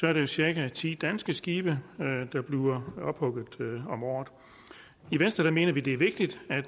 er det cirka ti danske skibe der bliver ophugget om året i venstre mener vi det er vigtigt at